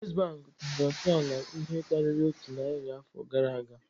First Bank tọrọ ntọala ihe karịrị otu narị afọ gara aga